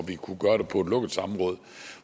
vi kunne gøre det på et lukket samråd